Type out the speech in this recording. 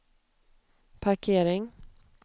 parkering